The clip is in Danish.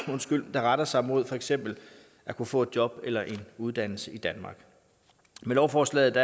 der retter sig mod for eksempel at kunne få et job eller en uddannelse i danmark med lovforslaget